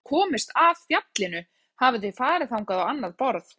En hvernig skyldu þau hafa komist að fjallinu, hafi þau farið þangað á annað borð?